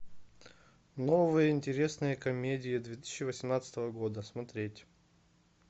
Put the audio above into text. новые интересные комедии две тысячи восемнадцатого года смотреть